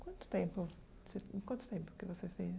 Quanto tempo você em quanto tempo que você fez?